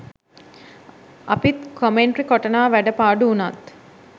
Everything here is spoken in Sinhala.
අපිත් කොමෙන්ට් කොටනවා වැඩ පාඩු උනත්.